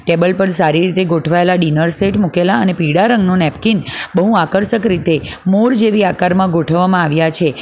Table પર સારી રીતે ગોઠવાયેલા ડિનર સેટ મુકેલા અને પીળા રંગનો નેપકીન બહુ આકર્ષક રીતે મોર જેવી આકારમાં ગોઠવવામાં આવ્યા છે.